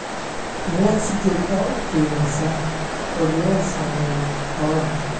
Miyaad si joogto ah u qiimeysaa cudurrada saameeya xoolaha?